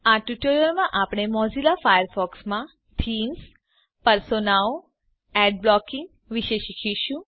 આ ટ્યુટોરીયલમાં આપણે મોઝીલા ફાયરફોક્સમાં થીમ્સ પર્સોનાઓ એડ બ્લોકીંગ વિશે શીખીશું